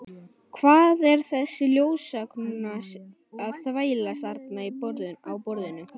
Hvað er þessi ljósakróna að þvælast þarna á borðinu.